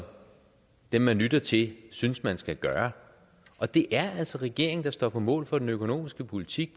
dem man lytter til synes man skal gøre og det er altså regeringen der står på mål for den økonomiske politik